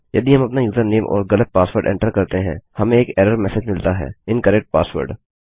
यदि हम अपना यूजरनेम और गलत पासवर्ड एंटर करते हैं हमें एक एरर मेसेज मिलता है- इनकरेक्ट पासवर्ड